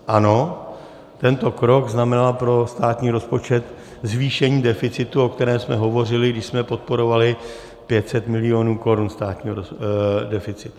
Ano, tento krok znamenal pro státní rozpočet zvýšení deficitu, o kterém jsme hovořili, když jsme podporovali 500 milionů (?) korun státního deficitu.